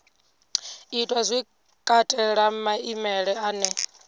itwa zwi katela maimele ane